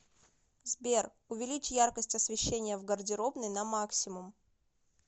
сбер увеличь яркость освещения в гардеробной на максимум